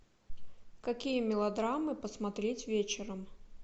какие мелодрамы посмотреть вечером